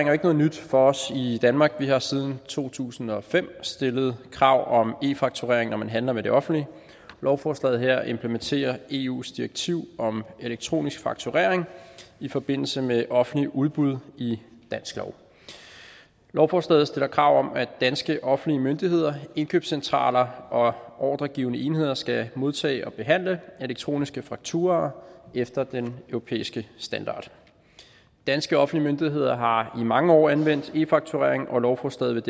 jo ikke noget nyt for os i danmark vi har siden to tusind og fem stillet krav om e fakturering når man handler med det offentlige lovforslaget her implementerer eus direktiv om elektronisk fakturering i forbindelse med offentlige udbud i dansk lov lovforslaget stiller krav om at danske offentlige myndigheder indkøbscentraler og ordregivende enheder skal modtage og behandle elektroniske fakturaer efter den europæiske standard danske offentlige myndigheder har i mange år anvendt e fakturering og lovforslaget